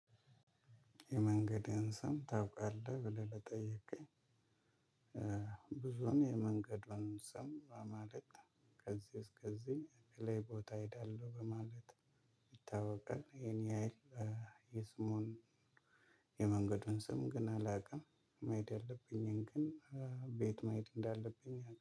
የመንገድህን ስም ታውቃለህ ብለህ ለጠይከኝ ብዙን የመንገዱን ስም በማለት ከዚህ እስከዚህ ላይ ቦታ እሄዳለሁ በማለት ይታወቃል ኢሄን ያህል የስሙን የመንገዱን ስም ግን አላውቅም መሄድ ያለብኝን ግን ቤት መሄድ እንዳለብኝ